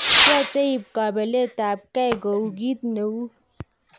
Yoche iyib kobelet ab kei kou kit neu.